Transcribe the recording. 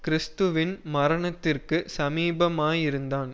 கிறிஸ்துவின் மரணத்திற்குச் சமீபமாயிருந்தான்